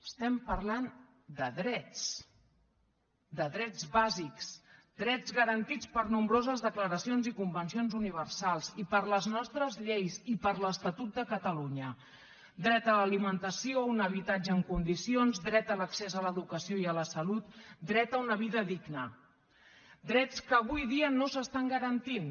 estem parlant de drets de drets bàsics drets garantits per nombroses declaracions i convencions universals i per les nostres lleis i per l’estatut de catalunya dret a l’alimentació a un habitatge en condicions dret a l’accés a l’educació i a la salut dret a una vida digna drets que avui dia no s’estan garantint